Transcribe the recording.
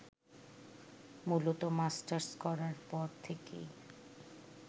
মূলত মাস্টার্স করার পর থেকেই